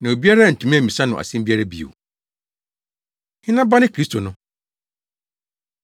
Na obiara antumi ammisa no asɛm biara bio. Hena Ba Ne Kristo No?